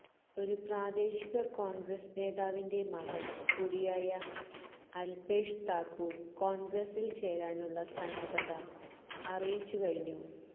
ഒരു പ്രാദേശിക കോണ്ഗ്രസ് നേതാവിന്റെ മകന് കൂടിയായ അല്പേഷ് താക്കൂര് കോണ്ഗ്രസില് ചേരാനുള്ള സന്നദ്ധത അറിയിച്ച് കഴിഞ്ഞു